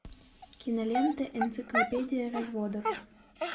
кинолента энциклопедия разводов